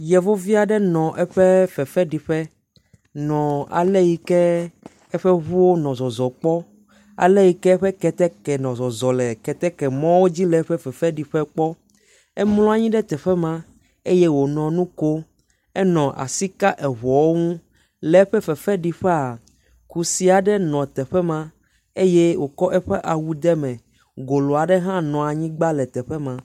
Yevuvi aɖe nɔ eƒe fefeɖiƒe nɔ ale yike eƒe ŋuwo nɔ zɔzɔ kpɔ, ale yike eƒe ketɛkɛ nɔ zɔzɔ le ketɛkɛmɔwo dzi le eƒe fefeɖiƒe kpɔ. Emlɔ anyi ɖe teƒe ma eye wònɔ nu kom, enɔ asi ka eŋuawo ŋu. Le eƒe fefeɖiƒea, kusi aɖe nɔ teƒe maeye wòtsɔ eƒe awu de me, golo aɖe hã nɔ anyigba le teƒe ma.